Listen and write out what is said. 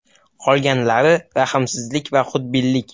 Qolganlari – rahmsizlik va xudbinlik.